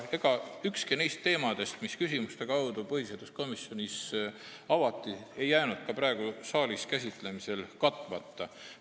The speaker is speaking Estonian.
Ega ükski neist teemadest, mida küsimuste kaudu põhiseaduskomisjonis avati, ei jäänud ka praegu saalis käsitlemisel katmata.